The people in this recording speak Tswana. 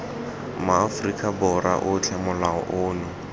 maaforika borwa otlhe molao ono